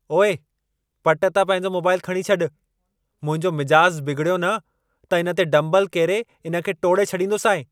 ओए! पट तां पंहिंजो मोबाइल खणी छॾि। मुंहिंजो मिजाज़ बिगिड़ियो न, त इन ते डम्बल केरे इन खे टोड़े छॾींदोसईं।